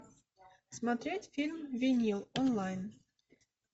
смотреть фильм винил онлайн